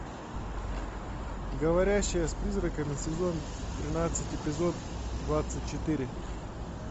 говорящая с призраками сезон тринадцать эпизод двадцать четыре